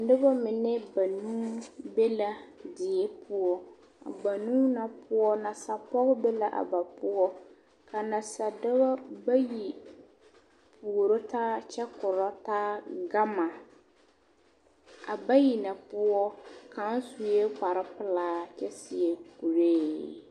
Noba mine banuu be la die poɔ, a banuu na poɔ nasa-pɔge be la ba poɔ ka nasa-dɔbɔ bayi puoro taa kyɛ korɔ taa gama, a bayi na poɔ kaŋ sue kpare pelaa kyɛ seɛ kuree.